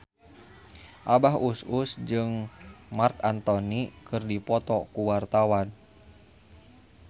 Abah Us Us jeung Marc Anthony keur dipoto ku wartawan